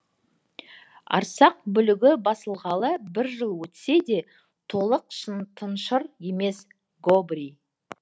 арсақ бүлігі басылғалы бір жыл өтсе де толық тыншыр емес гобрий